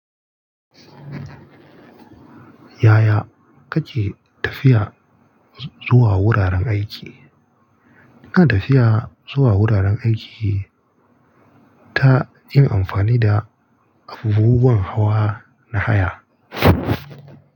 Yaya kake tafiya zuwa wuraren aiki? Ina tafiya zuwa wuraren aiki ta yin amfani da abubuwan hawa na haya.